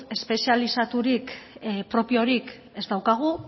espezializaturik propiorik ez daukagu